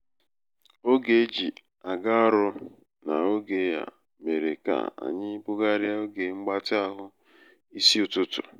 oge e ji aga ọrụ n'oge a mere ka anyi bugharịa oge mgbatị ahụ n'isi ụtụtụ.